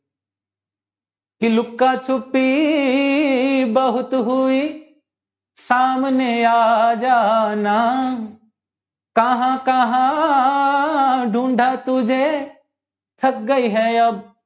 લૂકા છુપી બહુત હુંયી સેમને આજ ના કહા કહા દુંધા તુજે થાક ગયી હે અબ